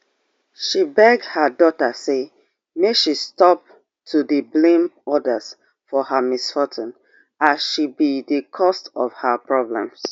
she beg her daughter say make she stop to dey blame odas for her misfortune as she be di cause of her problems